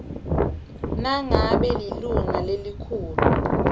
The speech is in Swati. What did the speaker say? nangabe lilunga lelikhulu